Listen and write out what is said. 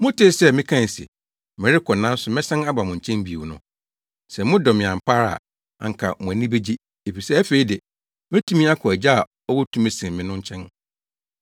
“Motee sɛ mekae se, ‘Merekɔ nanso mɛsan aba mo nkyɛn bio’ no. Sɛ modɔ me ampa ara a, anka mo ani begye, efisɛ afei de, metumi akɔ Agya a ɔwɔ tumi sen me no nkyɛn.